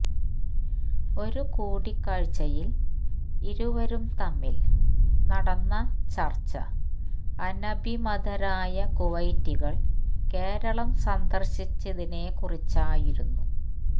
ഒരു കൂടിക്കാഴ്ചയില് ഇരുവരും തമ്മില് നടന്ന ചര്ച്ച അനഭിമതരായ കുവൈറ്റികള് കേരളം സന്ദര്ശിച്ചതിനെക്കുറിച്ചായിരുന്നു